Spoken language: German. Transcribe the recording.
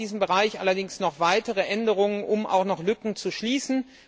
Wir brauchen in diesem Bereich allerdings noch weitere Änderungen, um auch noch Lücken zu schließen.